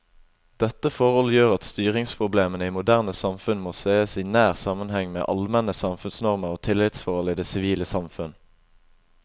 Dette forhold gjør at styringsproblemene i moderne samfunn må sees i nær sammenheng med allmenne samfunnsnormer og tillitsforhold i det sivile samfunn.